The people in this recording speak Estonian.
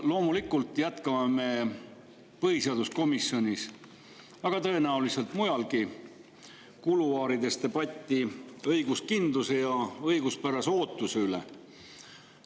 Loomulikult jätkame me põhiseaduskomisjonis, aga tõenäoliselt mujalgi, ka kuluaarides debatti õiguskindluse ja õiguspärase ootuse üle.